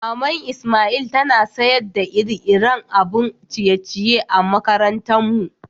Mama'n lsmail tana sayar da iri-irin abin ciye-ciye a'makarantan mu.